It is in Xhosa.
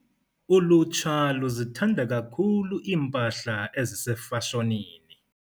Ulutsha luzithanda kakhulu iimpahla ezisefashonini.